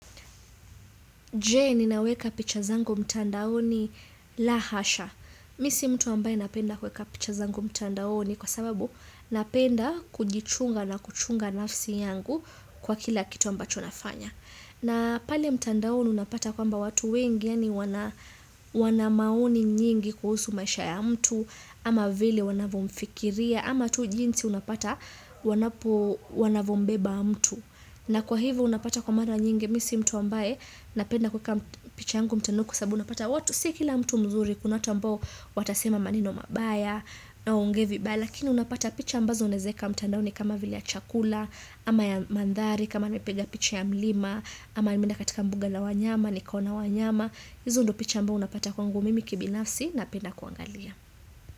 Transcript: Je, ninaweka picha zangu mtandaoni? La hasha. Mi si mtu ambaye napenda kuweka picha zangu mtandaoni kwa sababu napenda kujichunga na kuchunga nafsi yangu kwa kila kitu ambacho nafanya. Na pale mtandaoni unapata kwamba watu wengi yaani wana wana maoni nyingi kuhusu maisha ya mtu ama vile wanavyomfikiria ama tu jinsi unapata wanapo wanavyombeba mtu. Na kwa hivyo unapata kwa mara nyingi mi si mtu ambaye napenda kuweka picha yangu mtandaoni kwa sababu unapata watu si kila mtu mzuri kuna watu ambao watasema maneno mabaya na waongee vibaya lakini unapata picha ambazo unaweza weka mtandaoni kama vile ya chakula ama ya manthari kama nimepiga picha ya mlima ama nimeenda katika mbuga la wanyama nikaona wanyama hizo ndo picha ambao unapata kwangu mimi kibinafsi napenda kuangalia.